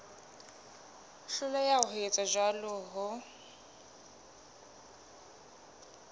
hloleha ho etsa jwalo ho